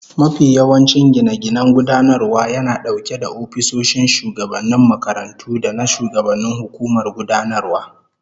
Most administrative buildings house the principal officers and governing council offices